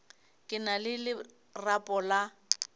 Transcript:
ke na le lerapo la